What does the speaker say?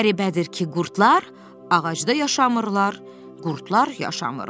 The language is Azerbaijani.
Qəribədir ki, qurdlar ağacda yaşamırlar, qurdlar yaşamırlar.